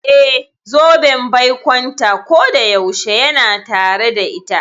Eh, zoben baikonta kodayaushe yana tare da ita.